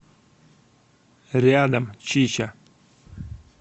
рядом чича